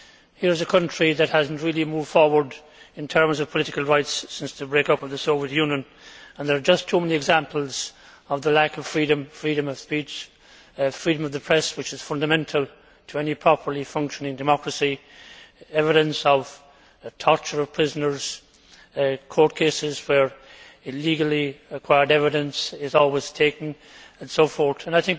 Here is a country that has not really moved forward in terms of political rights since the break up of the Soviet Union. There are just too many examples of lack of freedom freedom of speech and freedom of the press, which are fundamental to any properly functioning democracy as well as evidence of the torture of prisoners, court cases where illegally acquired evidence is always admitted, and so on.